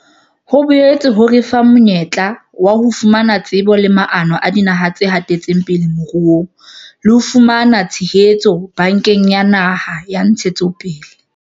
Ho boetse ha re fa le monyetla wa ho fumana tsebo le maano a dinaha tse hatetseng pele moruong le ho fumana tshehetso Bankeng ya Naha ya Ntshetsopele.